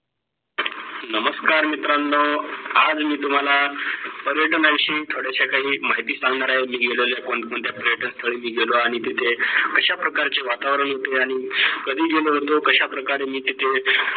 नमस्कार मित्रांनो आज मी तुम्हाला पर्यटनाविषयी थोड्याश्या काही माहिती सांगणार आहे. मी गेलेल्या कोण कोणत्या पर्यटनस्थळी मी गेलो आणि तिथे कश्या प्रकारची वातावरण होते आणि कधी गेलो होतो कश्या प्रकारे मी तिथे